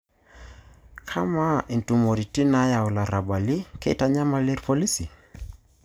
Kama intumoritin naayau ilarrabali, kitanyamal irpolisi?